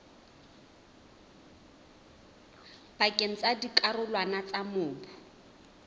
pakeng tsa dikarolwana tsa mobu